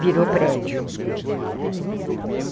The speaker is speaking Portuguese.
Virou prédio.